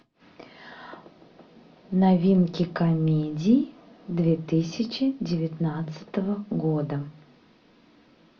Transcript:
новинки комедий две тысячи девятнадцатого года